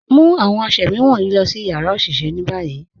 Mu awọn àṣẹ̀mí wọnyi lọ̀ si yara oṣiṣẹ̀ ni bayi.